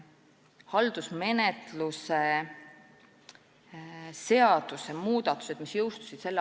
Haldusmenetluse seaduse muudatused, mis jõustusid s.